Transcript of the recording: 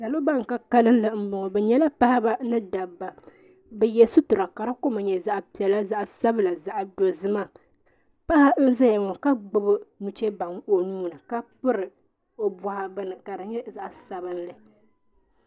Salo ban ka kalinli mboŋɔ bɛ nyɛla paɣaba ni dabba bɛ ye sitira ka di kama nye zaɣa piɛla zaɣa sabla zaɣa dozima paɣa n zaya ka gbibi nuchee baŋa o nuuni ka piri o buɣa bini ka di nye zaɣa sabinli.